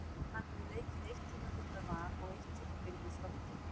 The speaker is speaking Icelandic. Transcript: Hann hefur leikið eitt tímabil með Val og eitt tímabil með Þrótti.